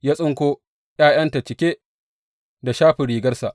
Ya tsinko ’ya’yanta cike da shafin rigarsa.